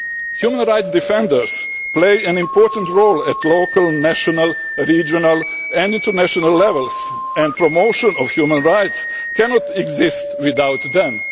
in line with international standards. Human rights defenders play an important role at local, national, regional and international levels, and the promotion of